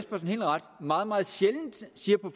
meget meget sjældent siger på